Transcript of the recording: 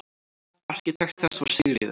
Arkitekt þess var Sigríður